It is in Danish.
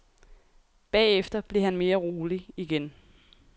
Bagefter blev han mere rolig igen.